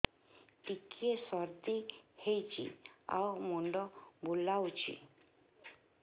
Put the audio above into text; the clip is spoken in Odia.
ଟିକିଏ ସର୍ଦ୍ଦି ହେଇଚି ଆଉ ମୁଣ୍ଡ ବୁଲାଉଛି